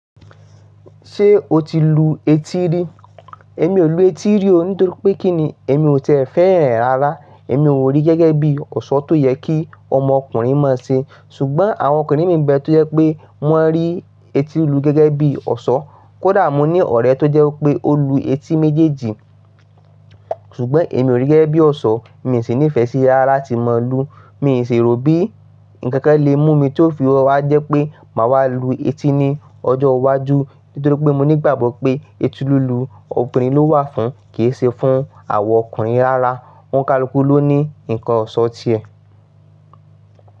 Ṣé o ti lu etí rí? Èmi ò lu etí rí o nítorí pé kí ni èmi ò tiẹ fẹ́ran e rárá. Èmi ò rí gẹ́gẹ́ bí ọ̀ṣọ́ tó yẹ kí ọmọ ọkùnrin máa ṣe. Ṣùgbọ́n àwọn ọkùnrin mi bẹ tó jẹ́ pé wọ́n rí etí lilu gẹ́gẹ́ bí ọ̀ṣọ́. Kódà mo ní ọ̀rẹ́ tó jẹ́ wípé ó lu etí méjèèjì, ṣùgbọ́n èmi ò rí gẹ́gẹ́ bí ọ̀ṣọ́, mi sì ní ìfẹ́ sí rara latí mo lu. Mi ṣi ròbí, ǹkan kan lè mú mi tó fi wa jẹ́ pé màá wá lu etí ní ọjọ́ iwájú. Nítorí pé mo ní ìgbàgbọ́ pé etí lílu obìnrin ló wà fún, kì í ṣe fún àwa ọkùnrin rárá. Ọ̀nkàluku ló ní ǹkan ọ̀ṣọ́ ti ẹ.